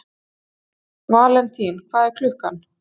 Valentín, hvað er klukkan?